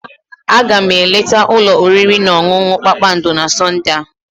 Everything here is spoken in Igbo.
Aga m eleta ụlọ oriri na ọṅụṅụ kpakpando na Sọnde a.